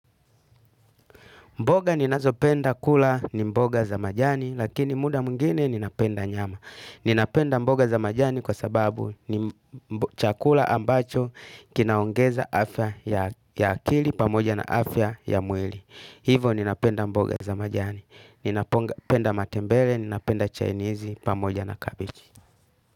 Mboga ninazo penda kula ni mboga za majani, lakini muda mwingine ninapenda nyama. Ninapenda mboga za majani kwa sababu ni chakula ambacho kinaongeza afya ya akili pamoja na afya ya mwili. Hivo ninapenda mboga za majani. Ninapenda matembele, ninapenda chainizi pamoja na kabichi.